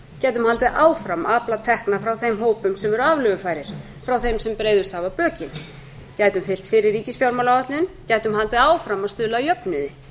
haldið áfram að afla tekna frá þeim hópum sem eru aflögufærir frá þeim sem breiðust hafa bökin gætum fylgt fyrri ríkisfjármálaáætlun gætum haldið áfram að stuðla að jöfnuði